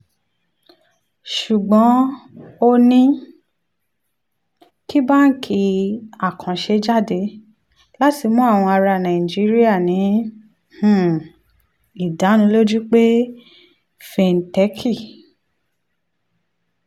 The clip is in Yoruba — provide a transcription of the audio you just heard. ṣùgbọ́n ó ní kí báńkì àkànṣe jáde láti mú àwọn ará nàìjíríà ní um ìdánilójú pé fíntẹ́kì